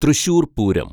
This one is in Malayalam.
തൃശ്ശൂര്‍ പൂരം